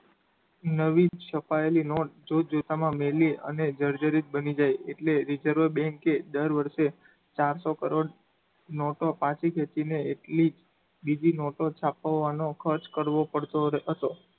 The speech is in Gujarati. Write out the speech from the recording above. નવી છપાયેલી નોટ જોત જોતા માં મેલી અને જર્જરીત બની જાય એટલે રિઝર્વ બેન્ક એ દર વર્ષે ચારસો કરોડ નોટો પાછી ખેંચીને એટલી જ બીજી નોટો છપાવવાનો ખર્ચ કરવો પડતો હતો.